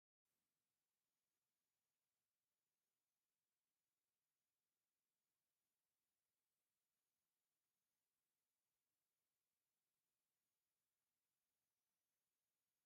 እዚ ናይ ኣኽሱም ዩኒቨርሲቲ ዋና ግቢ ዋና በሪ እዩ፡፡ ዝገርም እዩ፡፡ እዚ በሪ ኣብ ዘይውእ ከይዲ ህንፀት ኮይኑ ኩሉ ግዜ ይርአ ኣሎ፡፡